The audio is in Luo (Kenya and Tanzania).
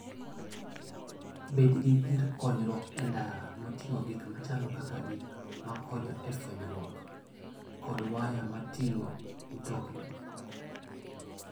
Bed gi gir konyruok e ndara moting'o gik machalo kaka gik makonyo e fwenyruok, kod waya mag ting'o mtokni.